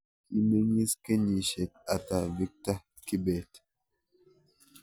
Kimeng'iis kenyisiek ata victor kibet